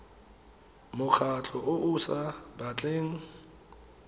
mokgatlho o o sa batleng